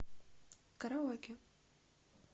караоке